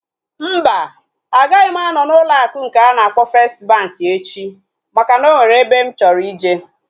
Mba, agaghị m anọ n'ụlọ akụ nke a na-akpọ festi bankị echi maka na o nwere ebe mụ chọrọ ije